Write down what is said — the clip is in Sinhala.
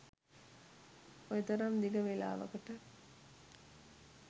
ඔය තරම් දිග වෙලාවකට.